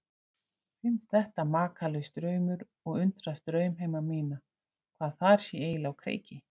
Finnst þetta makalaus draumur og undrast draumheima mína, hvað þar sé eiginlega á kreiki.